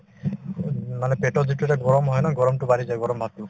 উম, মানে পেটত যিটো এটা গৰম হয় ন গৰমতো বাঢ়ি যায় গৰম ভাবতো